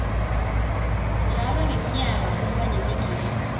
njalo ngemnyaka kuba nemigidvo